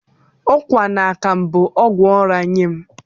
Ụkwa na akamu bụ ọgwụ ụra nye m